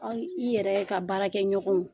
Aw i yɛrɛ ka baara kɛ ɲɔgɔnw